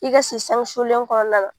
I ka sinsanw sulen kɔnɔna la